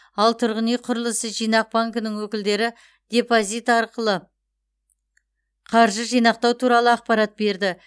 ал тұрғын үй құрылысы жинақ банкінің өкілдері депозит ашып қаржы жинақтау туралы ақпарат берді